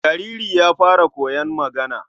jariri ya fara koyon magana.